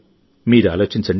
మీరు ఆలోచించండి